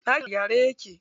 Ɗakin a gyare yake.